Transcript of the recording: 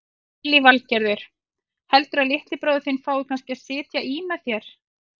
Lillý Valgerður: Heldurðu að litli bróðir þinn fái kannski að sitja í með þér?